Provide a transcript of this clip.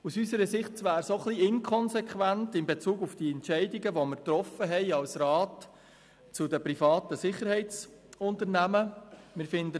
Aus unserer Sicht wäre es in Bezug auf die getroffenen Entscheidungen zu den privaten Sicherheitsunternehmen etwas inkonsequent.